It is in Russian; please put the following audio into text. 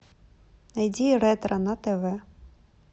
найди ретро на тв